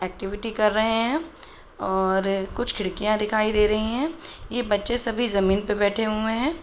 Activity कर रहे हैं और कुछ खिड़कियाँ दिखाई दे रहीं हैं। ये बच्चे सभी जमीन पे बैठे हूए हैं।